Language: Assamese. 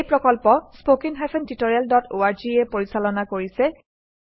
এই প্ৰকল্প httpspoken tutorialorg এ পৰিচালনা কৰিছে